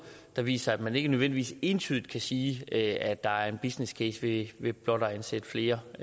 som viser at man ikke nødvendigvis entydigt kan sige at at der er en businesscase ved ved blot at ansætte flere